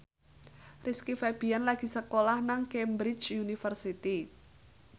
Rizky Febian lagi sekolah nang Cambridge University